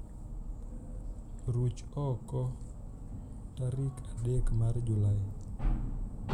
ruch ok karik adek mar julai